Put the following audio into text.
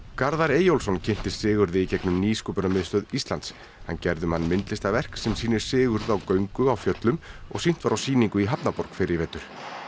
Garðar Eyjólfsson kynntist Sigurði í gegnum nýsköpunarmiðstöð Íslands hann gerði um hann myndlistarverk sem sýnir Sigurð á göngu á fjöllum og sýnt var á sýningu í hafnarborg fyrr í vetur